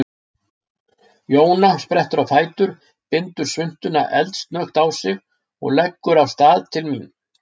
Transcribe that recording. Jóna sprettur á fætur, bindur svuntuna eldsnöggt á sig og leggur af stað til mín.